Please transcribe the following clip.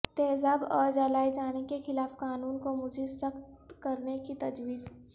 تیزاب اور جلائے جانے کے خلاف قانون کو مزید سخت کرنے کی تجویز